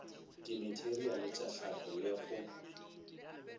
dimateriale tša hlahlo le go